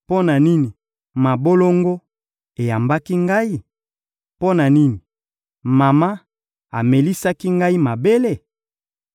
Mpo na nini mabolongo eyambaki ngai? Mpo na nini mama amelisaki ngai mabele?